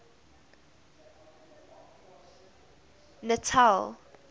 natal